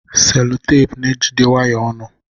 Selotepụ na-ejide waya ọnụ.